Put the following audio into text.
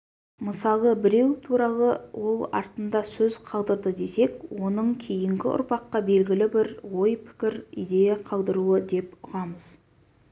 мысалы біреу туралы ол артында сөз қалдырды десек оның кейінгі ұрпаққа белгілі бір ой-пікір идея қалдыруы деп ұғамыз